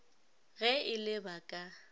ge e le ba ka